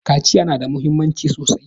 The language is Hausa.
.Kaciya na da muhimmanci sosai